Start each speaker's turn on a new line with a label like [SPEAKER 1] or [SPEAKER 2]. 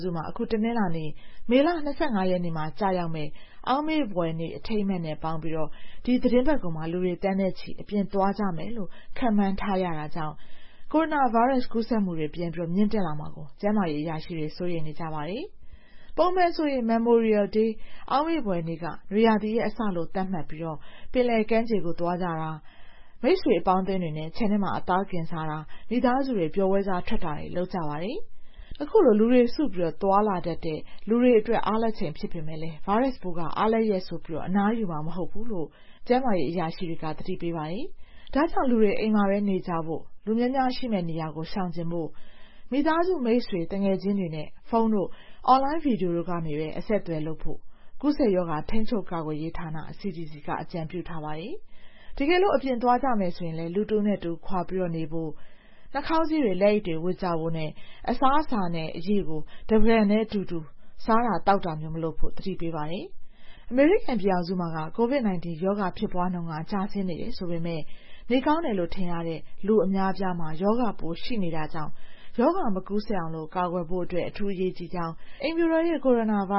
[SPEAKER 1] စုမှာ အခု တနင်္လာနေ့ မေလ ၂၅ ရက်နေ့မှာ ကျရောက်မယ့် Memorial Day အောင်မေ့ဖွယ်နေ့နဲ့ ပေါင်းပြီး ဒီသီတင်းပတ်ကုန်ရက်တွေမှာ လူတွေ သန်းနဲ့ချီ အပြင်သွားကြမယ်လို့ ခန့်မှန်းရတာကြောင့် ကိုရိုနာဗိုင်းရပ်စ် ကူးစက်မှုတွေ ပြန်မြင့်လာမှာကို ကျန်းမာရေးအရာရှိတွေ စိုးရိမ်နေကြပါတယ်။ ပုံမှန်ဆို အောက်မေ့ဖွယ်နေ့က နွေရာသီရဲ့အစလို့ သတ်မှတ်ပြီး ပင်လယ်ကမ်းခြေကို သွားကြတာ၊ အပေါင်းအသင်းတွေနဲ့ ခြံထဲမှာ အသားကင်စားကြတာ၊ မိသားစုတွေ ပျော်ပွဲစားထွက်ကြတာတွေ လုပ်ကြတာပါ။ ဒီလို လူတွေစုပြီး သွားလာတတ်ကြတဲ့ အားလပ်ရက်ဖြစ်ပေမယ့် ဗိုင်းရပ်စ်ပိုးက အနားယူမှာ မဟုတ်ဘူးလို့ တာဝန်ရှိသူတွေ သတိပေးပါတယ်။ ဒါကြောင့် လူတွေ အိမ်မှာပဲနေကြဖို့၊ လူများများရှိမယ့်နေရာကို ရှောင်ဖို့၊ မိသားစု မိတ်ဆွေအပေါင်းအသင်းတွေနဲ့ ဖုန်းတို့၊ အွန်လိုင်းဗွီဒီယိုတို့ကနေပြီးပဲ အဆက်အသွယ်လုပ်ဖို့ ကူးစက်ရောဂါ ထိန်းချုပ်ရေးနဲ့ ကာကွယ်ရေးဌာန (CDC) က သတိပေးပါတယ်။ တကယ်လို့ အပြင်သွားကြမယ်ဆိုရင်လည်း လူတဦးနဲ့တဦး ခွာပြီးနေဖို့၊ နှာခေါင်းစည်းတွေ လက်အိတ်တွေ ဝတ်ကြဖို့နဲ့ အစားအစာနဲ့ အရည်တို့ကို တပန်းကန်တည်း တခွက်တည်းကနေ ယူမစားကြဖို့ ပြောပါတယ်။ အမေရိကန်ပြည်ထောင်စုမှာ ကိုဗစ်ရောဂါ ဖြစ်ပွားမှုက ကျဆင်းနေတယ်ဆိုပေမယ့် နေကောင်းနေတယ်လို့ ထင်ရတဲ့သူတွေ အများအပြားမှာ ရောဂါပိုး ရှိနေတာကြောင့် ရောဂါမကူးစက်အောင် ကာကွယ်မှုက အရေးကြီးကြောင်း အိမ်ဖြူတော်ရဲ့ ကိုရိုနာပို